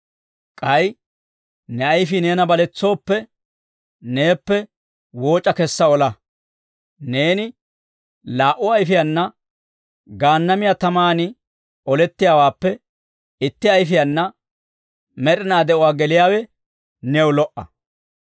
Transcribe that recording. K'ay ne ayfii neena baletsooppe, neeppe wooc'a kessa ola; neeni laa"u ayifiyaana Gaannamiyaa tamaan olettiyaawaappe itti ayifiyaana med'inaa de'uwaa geliyaawe new lo"a.